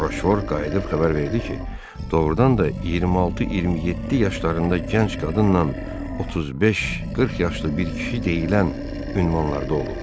Roşvor qayıdıb xəbər verdi ki, doğrudan da 26-27 yaşlarında gənc qadınla 35-40 yaşlı bir kişi deyilən ünvanlarda olub.